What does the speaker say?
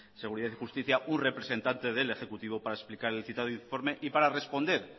seguridad y justicia un representante del ejecutivo para explicar el citado informe y para responder